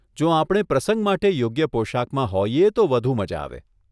જો આપણે પ્રસંગ માટે યોગ્ય પોશાકમાં હોઈએ તો વધુ મઝા આવે.